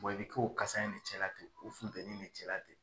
i bɛ k'o o kasa in de cɛla ten o funteni in ne cɛla ten.